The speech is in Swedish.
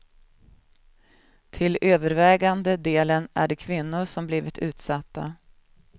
Till övervägande delen är det kvinnor som blivit utsatta.